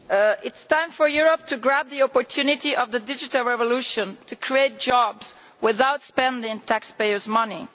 Mr President, it is time for Europe to grab the opportunity of the digital revolution to create jobs without spending taxpayers' money.